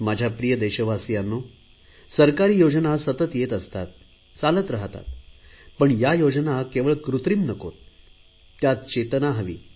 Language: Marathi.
माझ्या प्रिय देशवासियांनो सरकारी योजना सतत येत असतात चालत राहतात पण या योजना केवळ कृत्रिम नकोत त्यात चेतना हवी